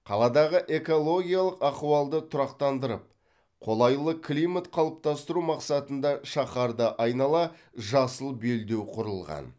қаладағы экологиялық ахуалды тұрақтандырып қолайлы климат қалыптастыру мақсатында шаһарды айнала жасыл белдеу құрылған